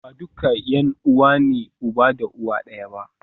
Ba duka ’yan’uwa ne uba da uwa ɗaya ba.